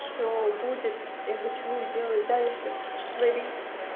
все будет я хочу делать дальше творить